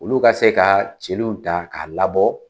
Olu ka se ka celuw ta k'a labɔ